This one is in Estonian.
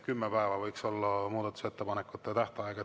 Kümme päeva võiks siiski olla muudatusettepanekute tähtaeg.